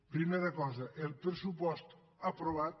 primera cosa el pressupost aprovat